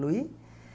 luí